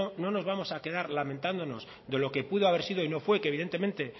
no nos vamos a quedar lamentándonos de lo que pudo haber sido y no fue que evidentemente